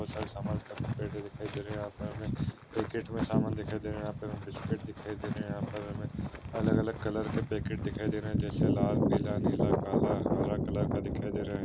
बहुत सारे सामन दिखाई दे रहे यहा पर हमे पॅकेट मे सामान दिखाई दे रहा है यहा पे हमे बिस्कुट दिखाई दे रहे यहा पर हमे अलग अलग कलर के पैकेट दिखाई दे रहे जैसे लाल पीला नीला काला हरा कलर का दिखाई दे रहा है।